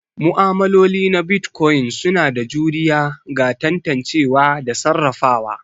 Ma'amaloli na Bitcoin suna da juriya ga tantancewa da sarrafawa.